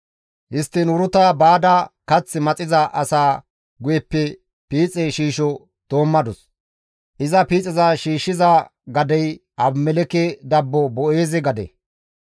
Histtiin Uruta baada kath maxiza asaa guyeppe piixe shiisho doommadus; iza piixeza shiishshiza gadey Abimelekke dabbo Boo7eeze gade.